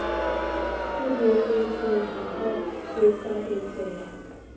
sireletseha ha ho ka etseha